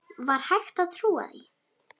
Var hægt að trúa því?